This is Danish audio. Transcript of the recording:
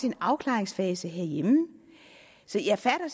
en afklaringsfase herhjemme jeg fatter